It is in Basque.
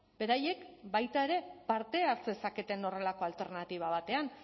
beraiek baita ere parte har zezaketen horrelako alternatiba batean